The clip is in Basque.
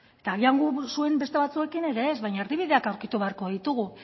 eta agian gu zuen beste batzuekin ere ez baina erdibideak aurkitu beharko ditugu